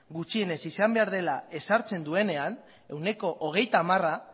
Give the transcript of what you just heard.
gutxienez izan behar dela ezartzen duenean ehuneko hogeita hamara